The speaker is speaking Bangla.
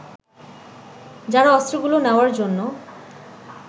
যারা অস্ত্রগুলো নেওয়ার জন্য